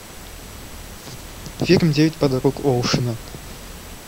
фильм девять подруг оушена